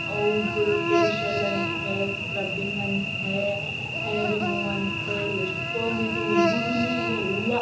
ಹುಡ್ಗರು ಫಾಸಿಯಾಲ್ ಅಂತೇ ಸ್ಕ್ರಬ್ಬಿಂಗ್ ಅಂತೇ ಹೇರ್ ರಿಮೂ ಅಂತೇ ಎಷ್ಟೊಂದು ರೀತಿ ಹುಡ್ಗರನು ಈಗ ಎಲ್ಲ--